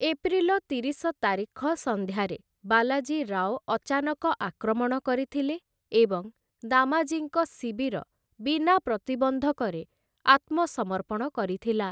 April ତିରିଶ ତାରିଖ ସନ୍ଧ୍ୟାରେ ବାଲାଜୀ ରାଓ ଅଚାନକ ଆକ୍ରମଣ କରିଥିଲେ ଏବଂ ଦାମାଜୀଙ୍କ ଶିବିର ବିନା ପ୍ରତିବନ୍ଧକରେ ଆତ୍ମସମର୍ପଣ କରିଥିଲା ।